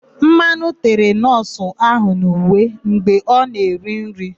Mmanụ tere nọọsụ ahụ n'uwe mgbe ọ na-eri nri.